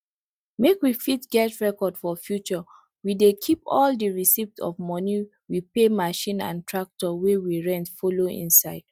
make we fit get record for future we dey keep all di receipt of moni we pay machine and tractor wey we rent follow inside